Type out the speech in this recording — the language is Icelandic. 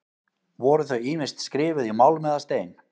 Voru þau ýmist skrifuð í málm eða stein.